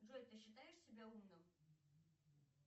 джой ты считаешь себя умным